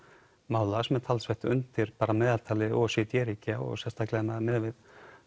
samvinnumála sem er talsvert undir meðaltali o e c d ríkja og sérstaklega miðað við